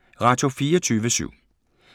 Radio24syv